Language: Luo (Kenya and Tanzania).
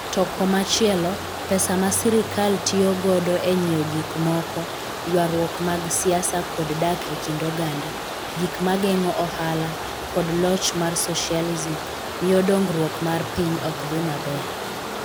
To komachielo, pesa ma sirkal tiyo godo e nyiewo gik moko, ywaruok mag siasa kod dak e kind oganda, gik ma geng'o ohala, kod loch mar socialism, miyo dongruok mar piny ok dhi maber.